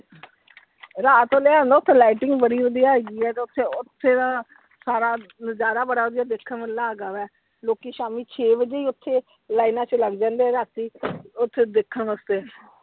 ਰਾਤ ਵੇਲੇ ਇਹ ਹੁੰਦਾ ਓਥੇ lighting ਬੜੀ ਵਧੀਆ ਹੈਗੀ ਆ ਤੇ ਓਥੇ ਓਥੇ ਦਾ ਸਾਰਾ ਨਜਾਰਾ ਬੜਾ ਵਧੀਆ ਦੇਖਣ ਵਾਲਾ ਹੈਗਾ ਵਾ, ਲੋਕੀ ਸ਼ਾਮੀ ਛੇ ਵਜੇ ਹੀ ਓਥੇ lines ਚ ਲੱਗ ਜਾਂਦੇ ਆ ਰਾਤੀ ਓਥੇ ਦੇਖਣ ਵਾਸਤੇ।